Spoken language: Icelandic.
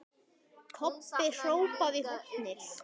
Kobbi hrópaði í hornið.